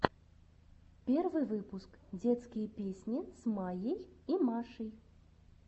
первый выпуск детские песни с майей и машей